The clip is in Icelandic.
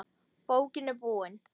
Bókin er búin.